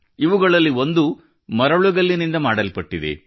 ಇವುಗಳಲ್ಲಿ ಒಂದು ಮರಳುಗಲ್ಲಿನಿಂದ ಮಾಡಲ್ಪಟ್ಟಿದೆ